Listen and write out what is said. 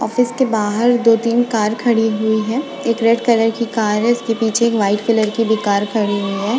Office के बाहर दो तीन कार खड़ी हुई है एक रेड कलर की कार है उसके पीछे वाइट कलर की भी कार खड़ी हुई है।